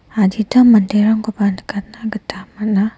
adita manderangkoba nikatna gita man·a.